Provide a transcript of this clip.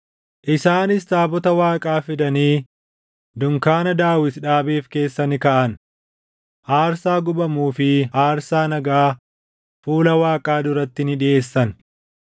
Isaanis taabota Waaqaa fidanii dunkaana Daawit dhaabeef keessa ni kaaʼan; aarsaa gubamuu fi aarsaa nagaa fuula Waaqaa duratti ni dhiʼeessan.